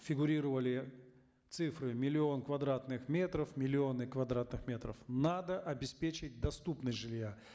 фигурировали цифры миллион квадратных метров миллионы квадратных метров надо обеспечить доступность жилья